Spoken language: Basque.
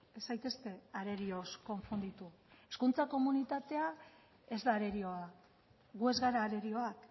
ez zaitezte arerioz konfunditu hezkuntza komunitatea ez da arerioa gu ez gara arerioak